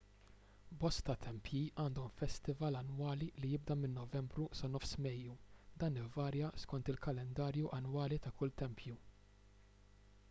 bosta tempji għandhom festival annwali li jibda minn novembru sa nofs mejju dan ivarja skont il-kalendarju annwali ta' kull tempju